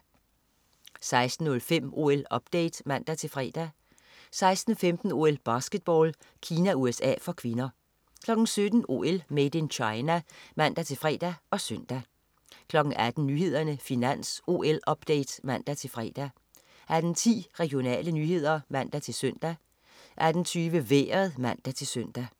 16.05 OL-update (man-fre) 16.15 OL: Basketball. Kina-USA (k) 17.00 OL: Made in China (man-fre og søn) 18.00 Nyhederne, Finans, OL-update (man-fre) 18.10 Regionale nyheder (man-søn) 18.20 Vejret (man-søn)